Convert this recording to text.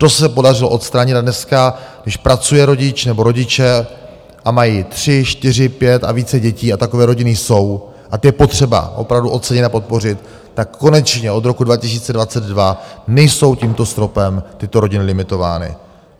To se podařilo odstranit a dneska, když pracuje rodič nebo rodiče a mají tři, čtyři, pět a více dětí - a takové rodiny jsou, a ty je potřeba opravdu ocenit a podpořit, tak konečně od roku 2022 nejsou tímto stropem tyto rodiny limitovány.